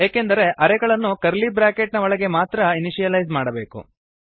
ಏಕೆಂದರೆ ಅರೇ ಗಳನ್ನು curly bracket ನ ಒಳಗೆ ಮಾತ್ರ ಇನಿಶಿಯಲೈಸ್ ಮಾಡಬೇಕು